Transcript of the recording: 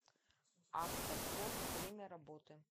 автопорт время работы